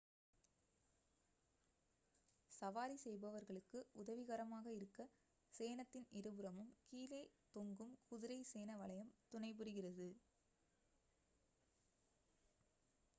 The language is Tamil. சவாரி செய்பவர்களுக்கு உதவிகரமாக இருக்க சேணத்தின் இருபுறமும் கீழே தொங்கும் குதிரை சேண வளையம் துணைபுரிகிறது